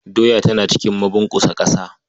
Doya tana cikin mabunƙusa ƙasa.